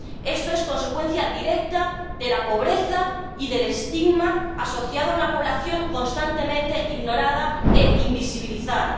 Esto es consecuencia directa de la pobreza y del estigma asociado a una población constantemente ignorada e invisibilizada.